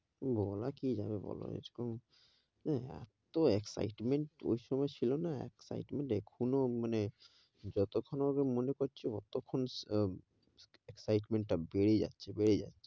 বলা কি যাবে বোলো, এরকম এতো excitement ওই সময় ছিল না excitement যেকোনো মানে, যতক্ষণ ওয়াকে মনে করছি ওতো খন আহ excitement টা বেড়ে যাচ্ছে, বেড়ে যাচ্ছে,